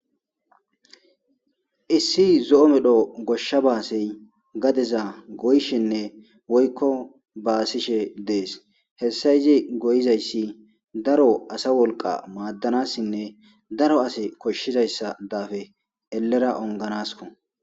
issi zo7o medho goshsha baasey gadeza goyshinne woykko baasishe dees hessa yizi goyizayssi daro asa wolqa maaddanassinne daro ase koshshizayssa daafe ellera onganasko